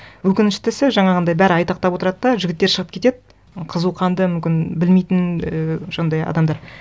өкініштісі жаңағындай бәрі айтақтап отырады да жігіттер шығып кетеді қызуқанды мүмкін білмейтін і жаңағындай адамдар